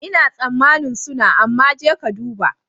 Ina tsammanin suna, amma je ka duba.